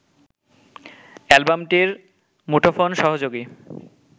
অ্যালবামটির মুঠোফোন-সহযোগী